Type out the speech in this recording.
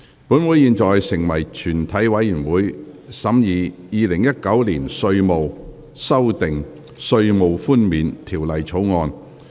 本會現在成為全體委員會，審議《2019年稅務條例草案》。